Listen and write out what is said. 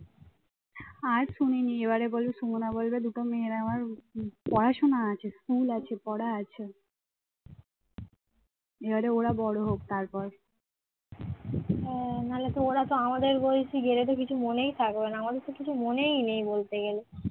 হ্যাঁ না হলে তো ওরা তো আমাদের বয়সী গেলেও তো কিছু মনেই থাকবে না আমাদের তো কিছু মনেই নেই বলতে গেলে